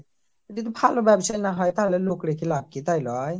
যদি ভালো ব্যবসা না হয় তাহলে লোক রেখে লাভ কি ? তাই নয়